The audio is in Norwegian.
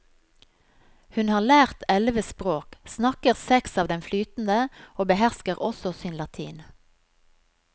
Hun har lært elleve språk, snakker seks av dem flytende og behersker også sin latin.